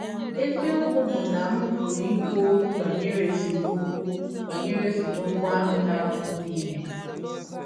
Eziọkwụ bụ́ na m pụrụ ikwu ọkwụ banyere esemọkwụ banyere esemọkwụ ahụ na - arụpụta ihe.